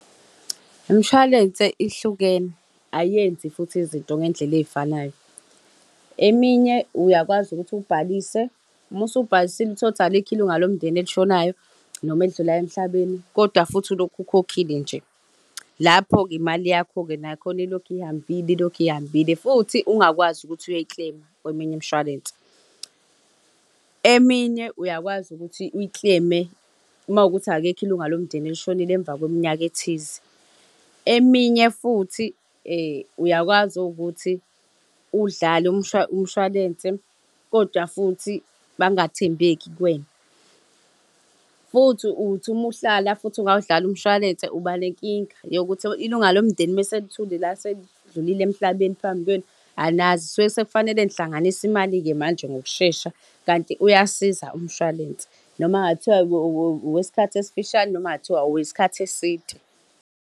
Imishwalense ihlukene, ayenzi futhi izinto ngey'ndlela ey'fanayo. Eminye uyakwazi ukuthi ubhalise, uma usubhalisile uthole ukuthi alikho ilunga lomndeni elishonayo, noma elidlulayo emhlabeni, kodwa futhi ulokhu ukhokhile nje. Lapho-ke imali yakho nakhona ilokhu ihambile, ilokhu ihambile, futhi ungakwazi ukuthi uyoyi-claim-a, kweminye imshwalense. Eminye uyakwazi ukuthi uyi-claim-e makuwukuthi akekho ilunga lomndeni elishonile emva kweminyaka ethize. Eminye futhi uyakwazi ukuthi udlale umshwalense, kodwa futhi bangathembeki kuwena. Futhi uthi uma uhlala futhi ungawudlali umshwalense uba nenkinga yokuthi ilunga lomndeni uma selithule la selidlulile emhlabeni phambi kwenu, anazi kusuke sekufanele nihlanganise imali-ke manje ngokushesha, kanti uyasiza umshwalense. Noma ngabe kuthiwa owesikhathi esifishane noma kungathiwa isikhathi eside.